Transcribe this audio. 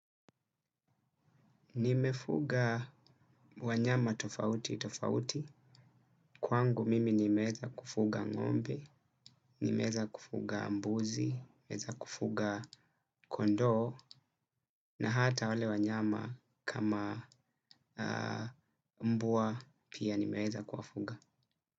Nimefuga wanyama tofauti tofauti. Kwangu mimi nimeeza kufuga ngombe, nimeeza kufuga mbuzi, nimeeza kufuga kondoo na hata wale wanyama kama mbwa pia nimeeza kuwafuga.